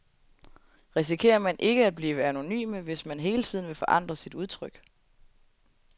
Risikerer man ikke at blive anonyme, hvis man hele tiden vil forandre sit udtryk?